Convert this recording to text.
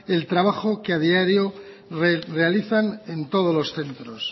el trabajo que a diario realizan en todos los centros